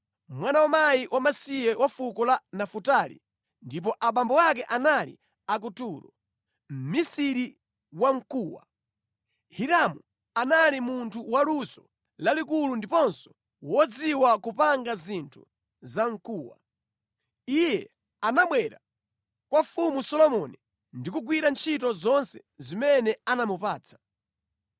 mwana wa mkazi wamasiye wa fuko la Nafutali ndipo abambo ake anali a ku Turo, mʼmisiri wa mkuwa. Hiramu anali munthu wa luso lalikulu ndiponso wodziwa kupanga zinthu za mkuwa. Iye anabwera kwa Mfumu Solomoni ndi kugwira ntchito zonse zimene anamupatsa.